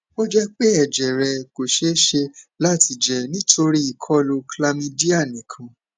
o jẹ pe ẹjẹ rẹ ko ṣee ṣe lati jẹ nitori ikolu chlamydia nikan